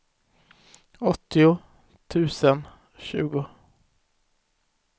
åttio tusen tjugo